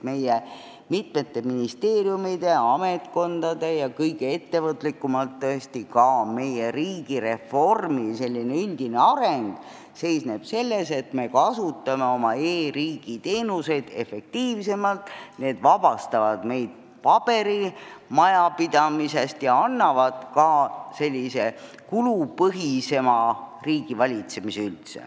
Meie ministeeriumide, ametkondade ja tõesti ka meie riigireformi üldine areng seisneb selles, et me kasutame oma e-riigi teenuseid efektiivsemalt, need vabastavad meid paberimajandusest ja annavad üldse kulupõhisema riigivalitsemise.